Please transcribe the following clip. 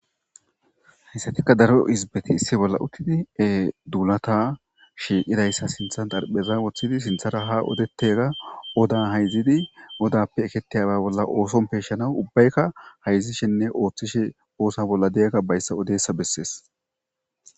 Hayssatikka daro izibeti issi bolla uttidi e duulata shiiqidayssa sinthan darpheza woththidi sinthara ha odettega odan hayzidi odappe ekettiyaba bolla ooson peeshshana ubbaykka hayzishenne ooththishe oosa bolla deegga bayssa odeessa bessees.